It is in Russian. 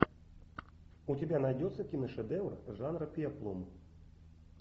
у тебя найдется киношедевр жанра пеплум